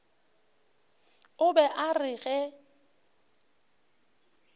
o be a re ge